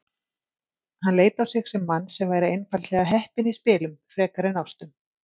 Hann leit á sig sem mann sem væri einfaldlega heppinn í spilum. frekar en ástum.